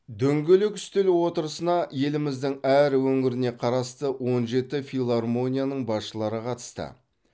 дөңгелек үстел отырысына еліміздің әр өңіріне қарасты он жеті филармонияның басшылары қатысты